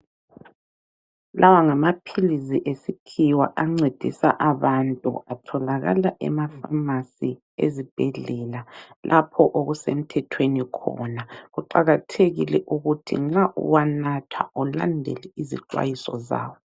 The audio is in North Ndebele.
Lawa ngamaphilisi esikhiwa ancedisa abantu. Atholakala emapharmacy ezibhedlela lapho okusemthethweni khona. Kuqakathekile ukuthi nxa uwanatha ulandele izixwayiso zawo.